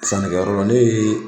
Sanikɛyɔrɔ la, ne ya yɔrɔ ne ye